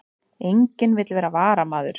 Enginn vill vera varamaður